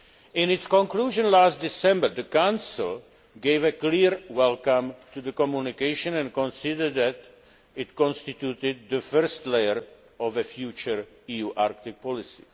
In its conclusion last December, the Council gave a clear welcome to the communication and considered that it constituted the first layer of a future EU Arctic policy.